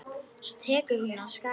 Svo tekur hún af skarið.